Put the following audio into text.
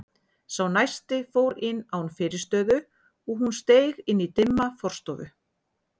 Sá næsti fór inn án fyrirstöðu og hún steig inn í dimma forstofu.